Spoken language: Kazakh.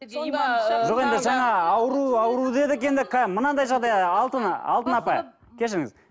жоқ енді жаңа ауру ауру дедік енді мынандай жағдай алтына алтын апай кешіріңіз